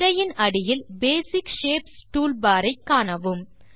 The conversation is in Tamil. திரையின் அடியில் பேசிக் ஷேப்ஸ் டூல்பார் ஐ காணவும்